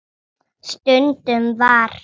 Stundum var